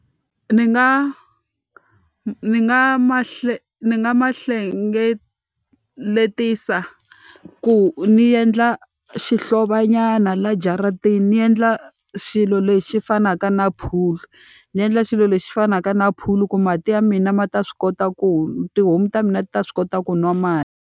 Ni nga ni nga ma ni nga ma hlengeleta ku ni endla xihlovonyana va jaratini, ni endla xilo lexi fanaka na pool. Ni endla xilo lexi fanaka na pool ku mati ya mina ma ta swi kota ku tihomu ta mina ti ta swi kota ku nwa mati.